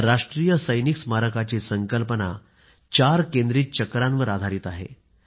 या राष्ट्रीय सैनिक स्मारकाची संकल्पना चार केंद्रीत चक्रांवर आधारित आहे